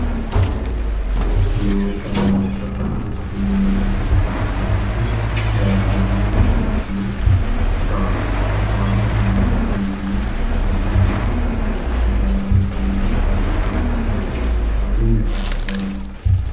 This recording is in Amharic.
ሰማያዊ ቀለም በተቀባ አነስተኛ የሱቅ ሕንጻ ፊት ለፊት፣ የተለያየ ዓይነት ልብሶችና ዕቃዎች ቀርበዋል። በግንባር ቀደምትነት በቀለማት ያሸበረቁ ቀሚሶች አሉ። ሰዎች በሱቆች አካባቢ ይንቀሳቀሳሉ።